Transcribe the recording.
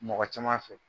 Mɔgɔ caman fɛ